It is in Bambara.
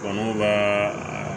Kɔnɔw b'a